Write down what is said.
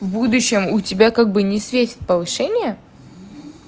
в будущем у тебя как бы не светит повышение